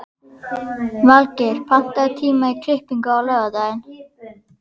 Valgeir, pantaðu tíma í klippingu á laugardaginn.